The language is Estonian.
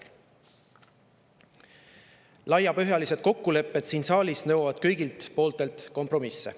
Laiapõhjalised kokkulepped siin saalis nõuavad kõigilt kompromisse.